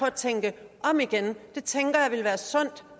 at tænke om igen tænker jeg vil være sundt